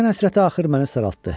Vətən həsrəti axır məni saraltdı.